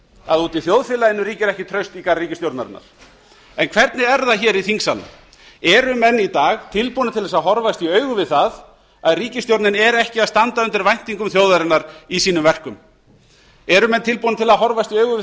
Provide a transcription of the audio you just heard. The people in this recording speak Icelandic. að úti í þjóðfélaginu ríkir ekki traust í garð ríkisstjórnarinnar en hvernig er það í þingsalnum eru menn í dag tilbúnir til að horfast í augu við það að ríkisstjórnin er ekki að standa undir væntingum þjóðarinnar í sínum verkum eru menn tilbúnir til að horfast í augu við